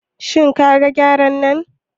Shin kaga Gyaren nan?